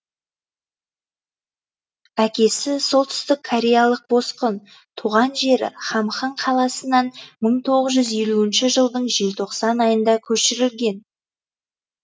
әкесі солтүстік кореялық босқын туған жері хамхың қаласынан мың тоғыз жүз елуінші жылдың желтоқсан айында көшірілген